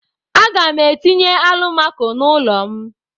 A ga m etinye alụmako n'ulo m.